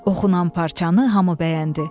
Oxunan parçanı hamı bəyəndi.